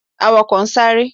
Awakọ n sare.